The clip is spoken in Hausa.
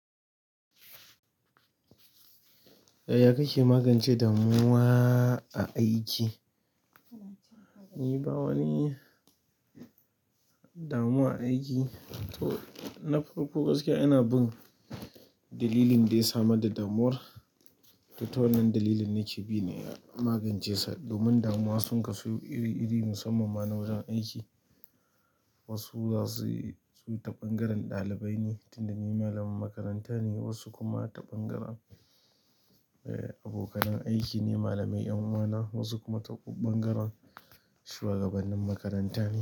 Yaya kake magance damuwa a aiki? Ni bawa ni damuwa a aiki. To, na farko gaskiya ina bin dalilin da ya samar da damuwar. Da ta wannan dalilin ne ke bi na magance sa. Domin damuwa sun kasu iri-iri musamman ma na wajen aiki. Wasu za su, su yi ta ɓangaren ɗalibai ne, tunda ni malamin makaranta ne, wasu kuma ta ɓangaren, eh, abokan aiki ne, malamai ƴan uwana, wasu kuma ta ɓangaren shugabanannin makaranta ne.